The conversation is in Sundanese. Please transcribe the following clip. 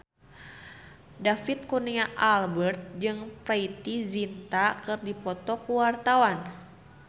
David Kurnia Albert jeung Preity Zinta keur dipoto ku wartawan